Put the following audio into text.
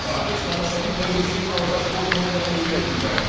ақш қазақстанның тәуелсіздігін алғаш болып мойындаған елдердің бірі